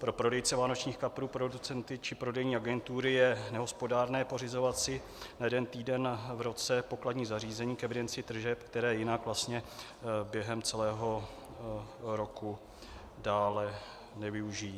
Pro prodejce vánočních kaprů, producenty či prodejní agentury je nehospodárné pořizovat si na jeden týden v roce pokladní zařízení k evidenci tržeb, které jinak během celého roku dále nevyužijí.